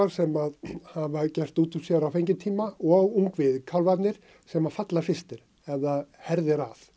sem hafa gert út úr sér á fengitíma og ungviðið kálfarnir sem falla fyrstir ef það herðir að